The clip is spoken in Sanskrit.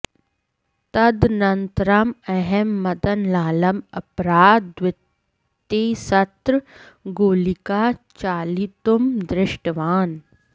तदनन्तरम् अहं मदनलालम् अपराः द्वितिस्रः गोलिकाः चालितुं दृष्टवान्